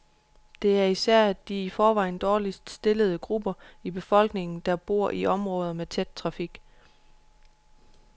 Det er især de i forvejen dårligst stillede grupper i befolkningen, der bor i områder med tæt trafik.